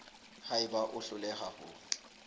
ha eba o hloleha ho